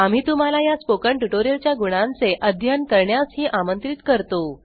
आम्ही तुम्हाला या स्पोकन ट्यूटोरियल च्या गुणांचे चे अध्ययन करण्यास ही आमंत्रित करतो